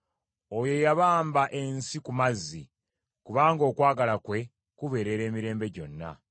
Oyo eyabamba ensi ku mazzi, kubanga okwagala kwe kubeerera emirembe gyonna.